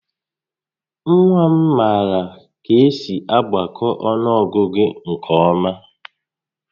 Nwa m maara ka-esi agbakọ ọnụọgụgụ nke ọ́má